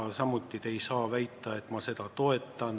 Te ei saa väita, et ma seda ei toeta, samuti te ei saa väita, et ma seda toetan.